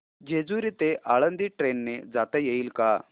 जेजूरी ते आळंदी ट्रेन ने जाता येईल का